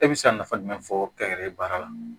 E bɛ se ka nafa jumɛn fɔ kɛnyɛrɛye baara la